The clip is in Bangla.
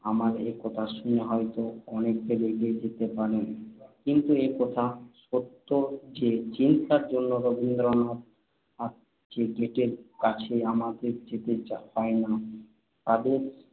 আমার একথা শুনে হয়তো অনেকে রেগে যেতে পারেন। কিন্তু এ কথা সত্য যে, চিন্তার জন্য রবীন্দ্রনাথ বা গ্যেটের কাছে আমাদের যেতে হয় না। তাঁদের